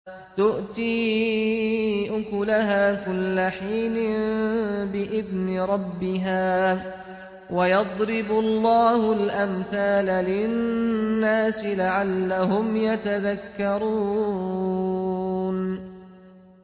تُؤْتِي أُكُلَهَا كُلَّ حِينٍ بِإِذْنِ رَبِّهَا ۗ وَيَضْرِبُ اللَّهُ الْأَمْثَالَ لِلنَّاسِ لَعَلَّهُمْ يَتَذَكَّرُونَ